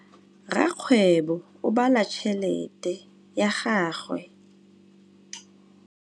Rakgwêbô o bala tšheletê ya gagwe.